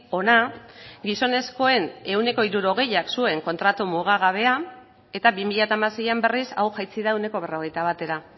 hona gizonezkoen ehuneko hirurogeiak zuen kontratu mugagabea eta bi mila hamaseian berriz hau jaitsi da ehuneko berrogeita batera